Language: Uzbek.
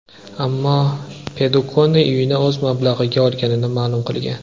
Ammo Padukone uyini o‘z mablag‘iga olganini ma’lum qilgan.